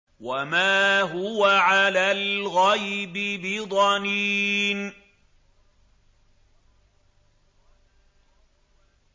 وَمَا هُوَ عَلَى الْغَيْبِ بِضَنِينٍ